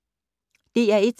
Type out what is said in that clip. DR1